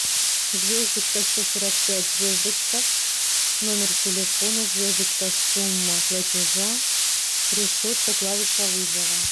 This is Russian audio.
звездочка сто сорок пять звездочка номер телефона звездочка сумма платежа решетка клавиша вызова